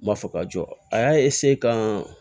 N m'a fɔ ka jɔ a y'a ka